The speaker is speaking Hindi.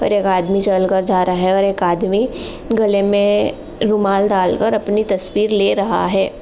एक आदमी चल कर जा रहा है और एक आदमी गले में रुमाल डाल कर अपनी तस्वीर ले रहा है।